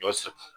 Ɲɔ sɛ